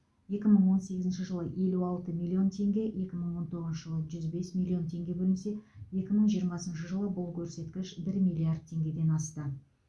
екі мың он сегізінші жылы елу алты миллион теңге екі мың он тоғызыншы жылы жүз бес миллион теңге бөлінсе екі мың жиырмасыншы жылы бұл көрсеткіш бір миллиард теңгеден асты